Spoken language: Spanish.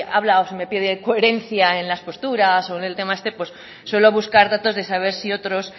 habla o se me pide coherencia en las posturas o en el tema este pues suelo buscar datos de saber si otros